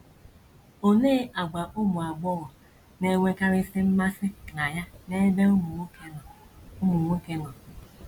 OLEE àgwà ụmụ agbọghọ na - enwekarịsị mmasị na ya n’ebe ụmụ nwoke nọ ụmụ nwoke nọ?